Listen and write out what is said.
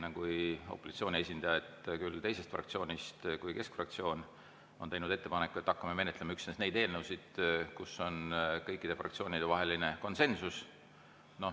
Üks opositsiooni esindaja, küll teisest fraktsioonist, mitte keskfraktsioonist, on teinud ettepaneku, et hakkame menetlema üksnes neid eelnõusid, mille puhul on kõikide fraktsioonide vahel konsensus.